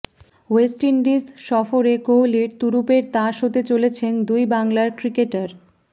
West Indies সফরে কোহলির তুরুপের তাস হতে চলেছেন দুই বাংলার ক্রিকেটার